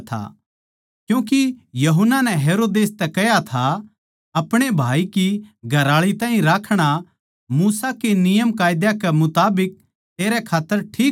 क्यूँके यूहन्ना नै हेरोदेस तै कह्या था आपणे भाई की घरआळी ताहीं राखणा मूसा के नियमकायदा कै मुताबिक तेरै खात्तर ठीक कोनी